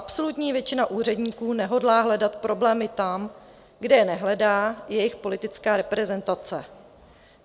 Absolutní většina úředníků nehodlá hledat problémy tam, kde je nehledá jejich politická reprezentace.